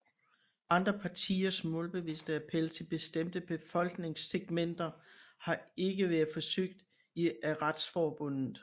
Andre partiers målbevidste appel til bestemte befolkningssegmenter har ikke været forsøgt af Retsforbundet